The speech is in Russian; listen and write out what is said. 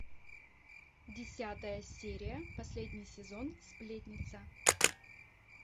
десятая серия последний сезон сплетница